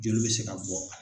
Joli bɛ se ka bɔ